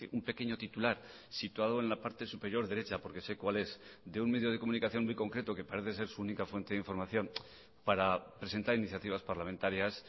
un pequeño titular situado en la parte superior derecha porque sé cual es de un medio de comunicación muy concreto que parece ser su única fuente de información para presentar iniciativas parlamentarias